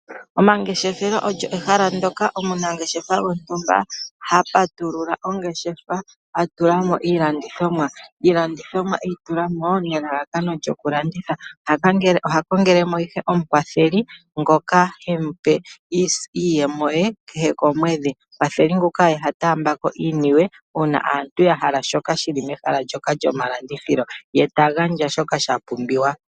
Omangeshefelo olyo ehala ndyoka omunangeshefa gontumba ha patulula ongeshefa a tula mo iilandithomwa. Iilandithomwa e yi tula mo nelalakano lyokulanditha. Oha kongele mo ihe omukwatheli ngoka hemu pe iiyemo ye kehe komwedhi. Omukwatheli nguka oye ha taamba ko iiniwe uuna aantu ya hala shoka shi li mehala lyomalandithilo ye ta gandja shoka sha pumbiwa.